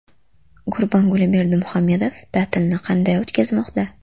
Gurbanguli Berdimuhamedov ta’tilni qanday o‘tkazmoqda?